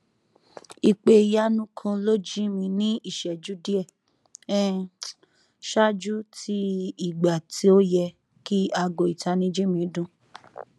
ipe iyanu kan lo ji mi ni iṣẹju diẹ um ṣáájú ti ìgbà to yẹ ki aago itaniji mi dun